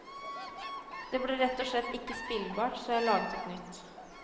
Det ble rett og slett ikke spillbart, så jeg laget et nytt.